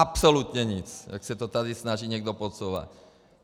Absolutně nic, jak se to tady snaží někdo podsouvat.